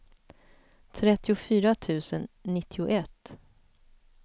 trettiofyra tusen nittioett